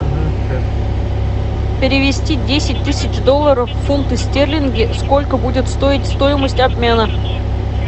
перевести десять тысяч долларов в фунты стерлингов сколько будет стоить стоимость обмена